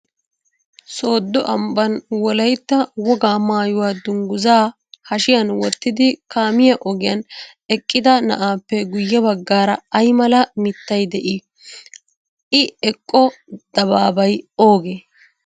Sooddo ambbaan Wolaytta wogaa maayuwaa dungguzzaa hashiyan wottidi kaamiyaa ogiyan eqqida na'aappe guyye baggaara ayi mala mittayi de'ii? I eqqo dabaabayi oogee?